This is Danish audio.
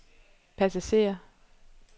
passager